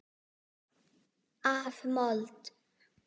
Af mold.